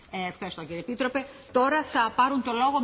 Frau Präsidentin, geschätzte Kolleginnen und Kollegen!